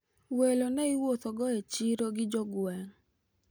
welo ne iwuothogo e chiro gi jogweng'